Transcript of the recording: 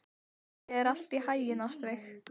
Gangi þér allt í haginn, Ástveig.